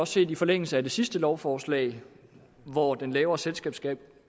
set i forlængelse af det sidste lovforslag hvor den lavere selskabsskat